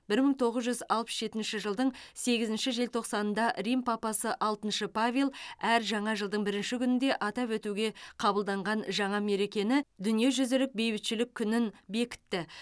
бір мың тоғыз жүз алпыс жетінші жылдың сегізінші желтоқсанында рим папасы алтыншы павел әр жаңа жылдың бірінші күнінде атап өтуге қабылданған жаңа мерекені дүниежүзілік бейбітшілік күнін бекітті